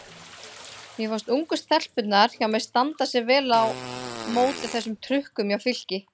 Mér fannst ungu stelpurnar hjá mér standa sig vel á móti þessum trukkum hjá Fylki.